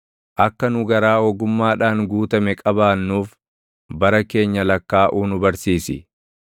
Akka nu garaa ogummaadhaan guutame qabaannuuf, bara keenya lakkaaʼuu nu barsiisi.